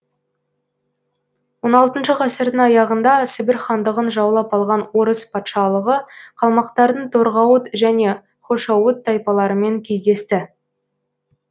он алтыншы ғасырдың аяғында сібір хандығын жаулап алған орыс патшалығы қалмақтардың торғауыт және хошоуыт тайпаларымен кездесті